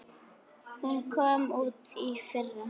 Hún kom út í fyrra.